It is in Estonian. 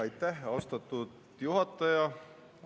Aitäh, austatud juhataja!